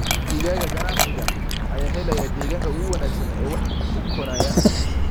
Digaagga ganacsiga ayaa helaya deegaanka ugu wanaagsan ee wax u koraya.